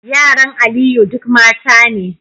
Yaran Aliyu duk mata ne